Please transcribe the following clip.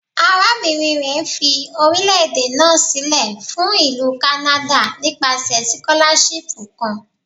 Arabinrin rẹ fi orilẹ-ede naa silẹ fun Ilu Kanada nipasẹ sikolashipu kan